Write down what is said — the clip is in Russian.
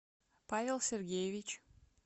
павел сергеевич